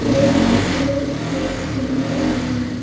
Side में काले रंग से पिलर बनाए हुए हैं।